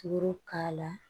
Tuuru k'a la